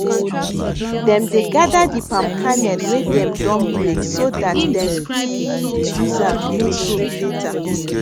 dem dey gather di palm kernel wey dem don break so that dem fit use am make soap later